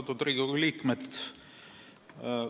Austatud Riigikogu liikmed!